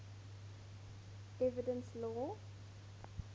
evidence law